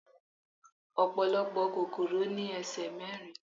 Ọ̀pọ̀lọpọ̀ kòkòrò ní ẹsẹ̀ mẹ́rin